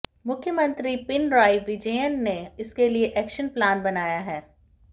मुख्यमंत्री पिनराई विजयन ने इसके लिए एक्शन प्लान बनाया है